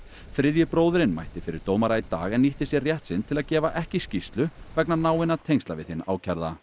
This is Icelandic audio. þriðji bróðirinn mætti fyrir dómara í dag en nýtti sér rétt sinn til að gefa ekki skýrslu vegna náinna tengsla við hinn ákærða